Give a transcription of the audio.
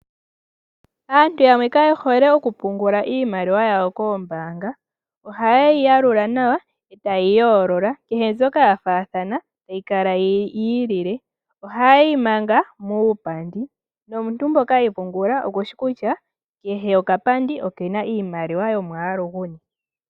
Aantu yamwe Kayehole oku pungula iimaliwa yawo koombaanga, ohayeyi yalula nawa itaye yi yoolola kehe mbyoka ya faathana tayi kala yi ilile. oha yeyi manga muupandi nomuntu mpoka eyi pungula okushi kutya kehe okapandi okena iimaliwa yomwaalu guni.